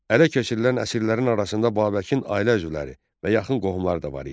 Ələ keçirilən əsirlərin arasında Babəkin ailə üzvləri və yaxın qohumları da var idi.